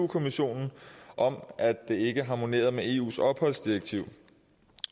kommissionen om at det ikke harmonerer med eus opholdsdirektiv